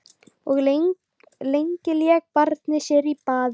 Of lengi lék barnið sér í baði